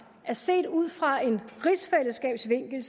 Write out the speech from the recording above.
at set ud fra en rigsfællesskabsvinkel